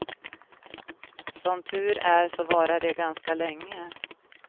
Som tur är så varar de ganska länge.